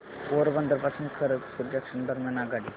पोरबंदर पासून खरगपूर जंक्शन दरम्यान आगगाडी